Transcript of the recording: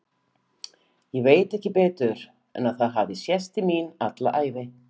Ég veit ekki betur en að það hafi sést til mín alla ævi.